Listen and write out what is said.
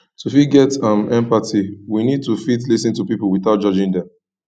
to fit get um empathy we need to fit lis ten to pipo without judging them